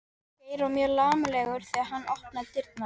Geir var mjög laumulegur þegar hann opnaði dyrnar.